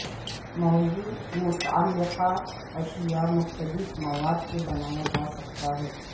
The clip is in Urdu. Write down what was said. موضوع متعلقہ اشیاء مختلف مواد کے بنایا جا سکتا ہے